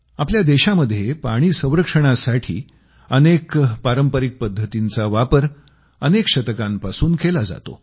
आपल्या देशामध्ये पाणी संरक्षणासाठी अनेक पारंपरिक पद्धतींचा वापर अनेक शतकांपासून केला जातो